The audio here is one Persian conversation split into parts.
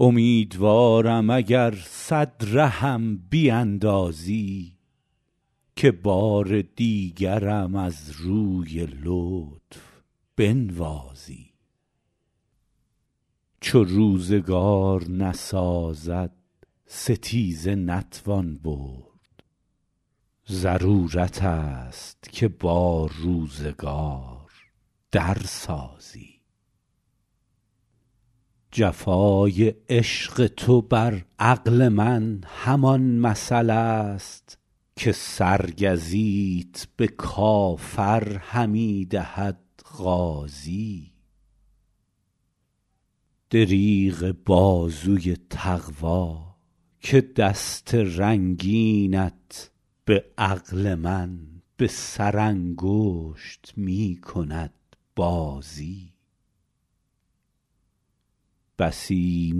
امیدوارم اگر صد رهم بیندازی که بار دیگرم از روی لطف بنوازی چو روزگار نسازد ستیزه نتوان برد ضرورت است که با روزگار در سازی جفای عشق تو بر عقل من همان مثل است که سرگزیت به کافر همی دهد غازی دریغ بازوی تقوا که دست رنگینت به عقل من به سرانگشت می کند بازی بسی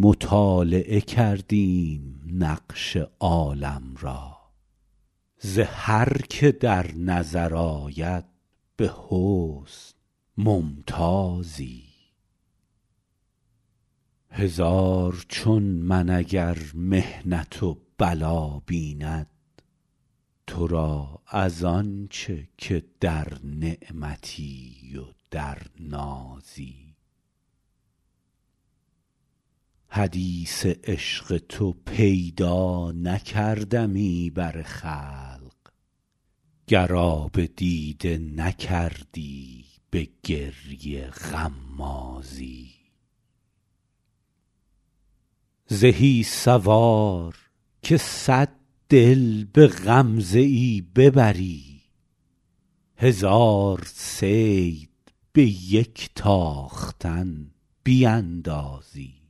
مطالعه کردیم نقش عالم را ز هر که در نظر آید به حسن ممتازی هزار چون من اگر محنت و بلا بیند تو را از آن چه که در نعمتی و در نازی حدیث عشق تو پیدا نکردمی بر خلق گر آب دیده نکردی به گریه غمازی زهی سوار که صد دل به غمزه ای ببری هزار صید به یک تاختن بیندازی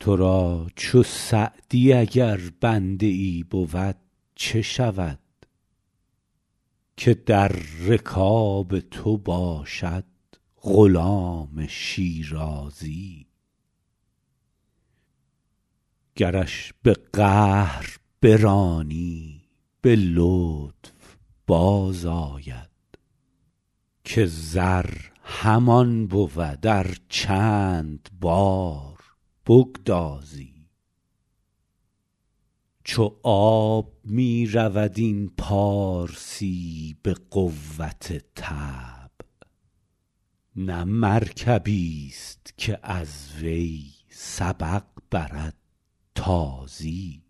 تو را چو سعدی اگر بنده ای بود چه شود که در رکاب تو باشد غلام شیرازی گرش به قهر برانی به لطف بازآید که زر همان بود ار چند بار بگدازی چو آب می رود این پارسی به قوت طبع نه مرکبیست که از وی سبق برد تازی